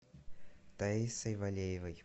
таисой валеевой